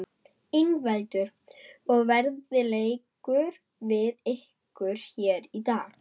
Ingveldur: Og veðrið leikur við ykkur hér í dag?